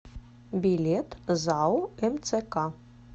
билет зао мцк